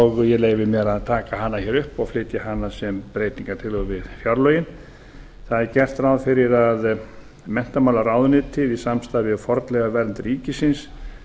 og ég leyfi mér að taka hana hér upp og flytja hana sem breytingartillögu við fjárlögin það er gert ráð fyrir að menntamálaráðuneytið í samstarfi við fornleifavernd ríkisins